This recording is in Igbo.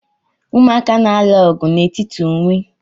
Umụaka na-alụ ọgụ n'etiti onwe